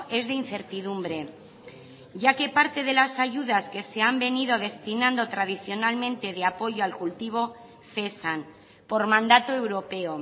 es de incertidumbre ya que parte de las ayudas que se han venido destinando tradicionalmente de apoyo al cultivo cesan por mandato europeo